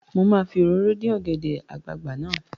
Mà á fi òróró dín ọ̀gẹ̀dẹ̀ àgbagbà náà.